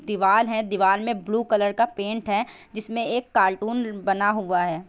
दीवाल है दीवाल मे ब्लू कलर का पैंट है जिसमे एक कार्टून बना हुआ है।